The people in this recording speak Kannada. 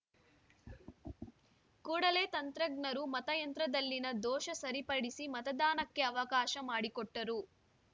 ಕೂಡಲೇ ತಂತ್ರಜ್ಞರು ಮತಯಂತ್ರದಲ್ಲಿನ ದೋಷ ಸರಿಪಡಿಸಿ ಮತದಾನಕ್ಕೆ ಅವಕಾಶ ಮಾಡಿಕೊಟ್ಟರು